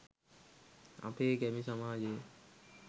අපේ ගැමි සමාජය